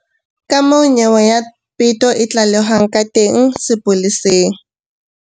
Kamoo nyewe ya peto e tlalehwang ka teng sepoleseng.